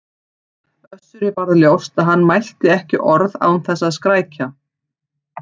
Össuri varð ljóst að hann mælti ekki orð án þess að skrækja.